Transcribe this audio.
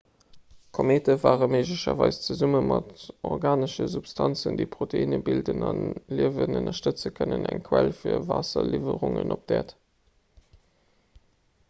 komete ware méiglecherweis zesumme mat organesche substanzen déi proteinne bilden a liewen ënnerstëtze kënnen eng quell fir waasserliwwerungen op d'äerd